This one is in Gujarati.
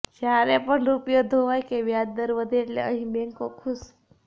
જ્યારે પણ રુપિયો ધોવાય કે વ્યાજદર વધે એટલે અહીં બેંકો ખૂશ